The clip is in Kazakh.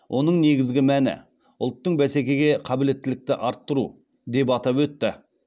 оның негізгі мәні ұлттың бәсекеге қабілеттілікті арттыру деп атап өтті